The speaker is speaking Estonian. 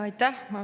Aitäh!